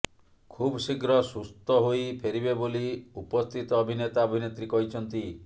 ଖୁବଶୀଘ୍ର ସୁସ୍ଥ୍ୟ ହୋଇ ଫେରିବେ ବୋଲି ଉପସ୍ଥିତ ଅଭିନେତା ଅଭିନେତ୍ରୀ କହିଛନ୍ତି